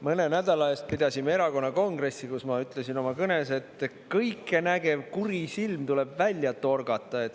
Mõne nädala eest pidasime erakonna kongressi, kus ma ütlesin oma kõnes, et kõikenägev kuri silm tuleb välja torgata.